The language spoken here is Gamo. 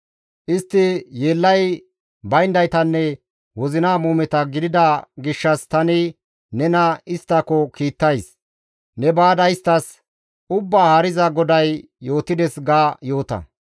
Istti yeellay bayndaytanne wozina muumeta gidida gishshas tani nena isttako kiittays. Ne baada isttas, ‹Ubbaa Haariza GODAY yootides› ga yoota;